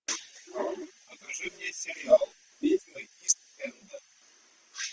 покажи мне сериал ведьмы ист энда